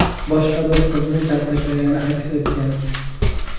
boshqa bir qizni kaltaklagani aks etgan.